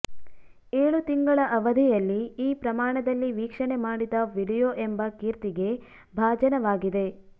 ಏಳು ತಿಂಗಳ ಅವಧಿಯಲ್ಲಿ ಈ ಪ್ರಮಾಣದಲ್ಲಿ ವೀಕ್ಷಣೆ ಮಾಡಿದ ವಿಡಿಯೋ ಎಂಬ ಕೀರ್ತಿಗೆ ಭಾಜನವಾಗಿದೆ